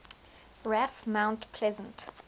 raf mount pleasant